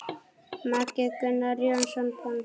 Maki: Gunnar Jónsson bóndi.